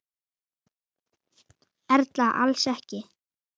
Erla: Alls ekki?